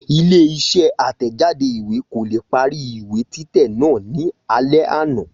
Ilé isé àtẹ̀jáde ìwé kò leè parí ìwé títẹ̀ náà ní alé àná